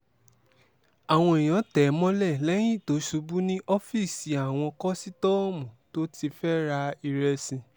àwọn èèyàn tẹ̀ ẹ́ mọ́lẹ̀ lẹ́yìn tó ṣubú ní ọ́fíìsì àwọn kọ́sítọ́ọ̀mù tó ti fẹ́ẹ́ ra ìrẹsì